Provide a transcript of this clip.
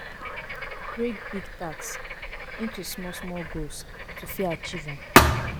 Break big task into small small goals to fit achieve am